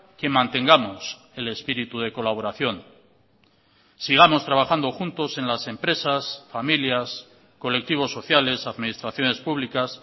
que mantengamos el espíritu de colaboración sigamos trabajando juntos en las empresas familias colectivos sociales administraciones públicas